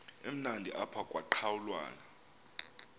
emnandi apha kwaqhelwana